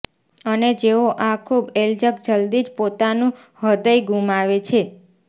અને જેઓ આ ખૂબ એલ્જક જલ્દી જ પોતાનુ હૃદય ગુમાવે છે